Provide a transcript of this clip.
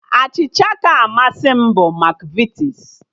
Achịcha kacha amasị m bụ Makvitis